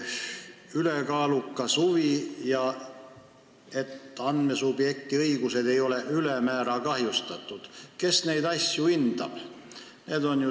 Ülekaalukas huvi ja see, et andmesubjekti õigused ei ole ülemäära kahjustatud – kes neid asju hindab?